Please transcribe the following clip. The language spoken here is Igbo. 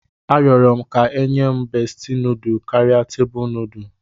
Arịọrọ m ka e nye m beesti nudu karịa tebụl nudu